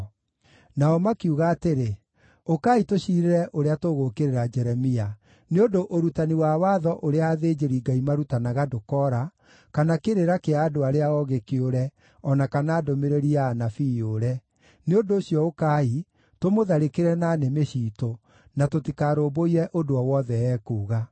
Nao makiuga atĩrĩ, “Ũkai tũciirĩre ũrĩa tũgũũkĩrĩra Jeremia; nĩ ũndũ ũrutani wa watho ũrĩa athĩnjĩri-Ngai marutanaga ndũkoora, kana kĩrĩra kĩa andũ arĩa oogĩ kĩũre, o na kana ndũmĩrĩri ya anabii yũre. Nĩ ũndũ ũcio ũkai, tũmũtharĩkĩre na nĩmĩ ciitũ, na tũtikarũmbũiye ũndũ o wothe ekuuga.”